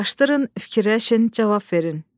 Araşdırın, fikirləşin, cavab verin.